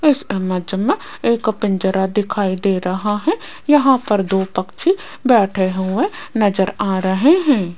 इस इमेज मे एक पिंजरा दिखाई दे रहा है यहां पर दो पक्षी बैठे हुए नज़र आ रहे हैं।